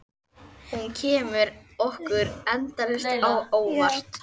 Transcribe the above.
Og hún kemur okkur endalaust á óvart.